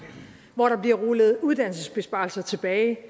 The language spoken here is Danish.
hvor der bliver rullet uddannelsesbesparelser tilbage